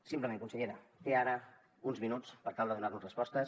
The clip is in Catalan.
simplement consellera té ara uns minuts per tal de donar nos respostes